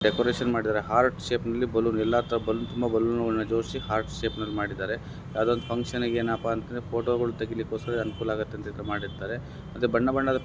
decoration ಮಾಡಿದ್ದಾರೆ heart ಶೇಪಲ್ಲಿ balloons ಎಲ್ಲಾ ತರ ಹದ ಬಲೂನ ತುಂಬಾ ಬಲೂನ ಗಳನ್ನ ಜೊಡ್ಸಿ ಹಾರ್ಟ್ ಶೇಪ ಲ್ಲಿ ಮಾಡಿದ್ದಾರೆ ಯಾವುದೊ ಒಂದು ಫಂಕ್ಷನ್ಗ ಎನಪಾ ಅಂತ ಅಂದ್ರೆ ಫೋಟೋ ಗಳ ತೆಗಿಲಕಗೊಸ್ಕರ ಅನುಕೂಲ ಆಗುತ್ತೆ ಅಂತ ಮಾಡಿದ್ದಾರೆ ಅದೆ ಬಣ್ಣ ಬಣ್ಣದ --